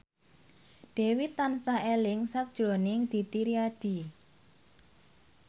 Dewi tansah eling sakjroning Didi Riyadi